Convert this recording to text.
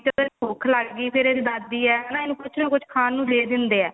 ਵੀ ਜਦੋਂ ਭੁੱਖ ਲੱਗ ਗਈ ਫੇਰ ਇਹਦੀ ਦਾਦੀ ਹੈ ਇਹਨੂੰ ਕੁੱਝ ਨਾ ਕੁੱਝ ਖਾਣ ਨੂੰ ਦੇ ਦਿੰਦੇ ਆ